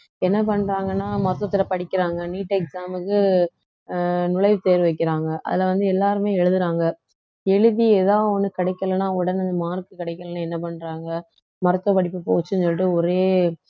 என்ன பண்றாங்கன்னா மொத்தத்துல படிக்கிறாங்க neet exam க்கு அஹ் நுழைவு தேர்வு வைக்கிறாங்க அதுல வந்து எல்லாருமே எழுதுறாங்க எழுதி ஏதாவது ஒண்ணு கிடைக்கலேன்னா உடனே mark கிடைக்கலைன்னா என்ன பண்றாங்க மருத்துவ படிப்பு போச்சுன்னு சொல்லிட்டு ஒரே